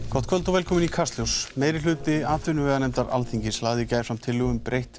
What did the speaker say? gott kvöld og velkomin í Kastljós Meirihluti atvinnuveganefndar Alþingis lagði í gær fram tillögu um breytt